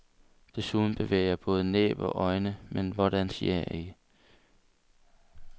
Desuden bevæger jeg både næb og øjne, men hvordan siger jeg ikke.